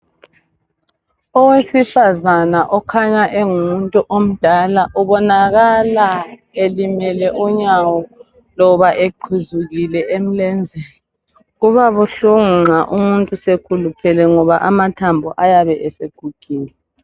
Owesifazana okhanya engumuntu omdala ubonakala elimele unyawo loba eqhuzukile emlenzeni. Kuba buhlungu nxa umuntu seluphele ngoba amathambo ayabe esegugile.